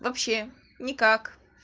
вообще никак